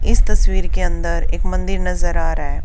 इस तस्वीर के अंदर एक मंदिर नजर आ रहा है।